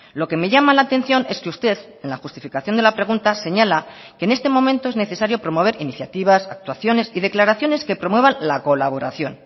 lo que me llama la atención es que usted en la justificación de la pregunta señala que en este momento es necesario promover iniciativas actuaciones y declaraciones que promuevan la colaboración